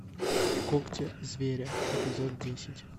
когти зверя эпизод десять